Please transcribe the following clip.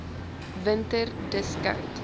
winter dis koud